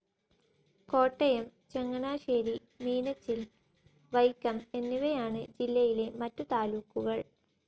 കോട്ടയം ചങ്ങനാശ്ശേരി മീനച്ചിൽ വൈക്കം എന്നിവയാണ് ജില്ലയിലെ മറ്റു താലൂക്കുകൾ.